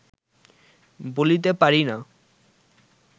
বলিতে পারি না